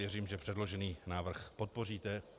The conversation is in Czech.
Věřím, že předložený návrh podpoříte.